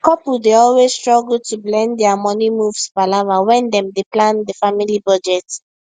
couple dey always struggle to blend their money moves palava when dem dey plan the family budget